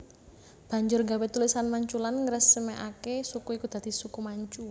Banjur gawé tulisan Manchulan ngresmekake suku iki dadi Suku Manchu